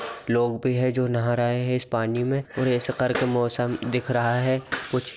लोग भी है जो नहा रहा है इस पानी में और ऐसा करके मौसम दिख रहा है कुछ --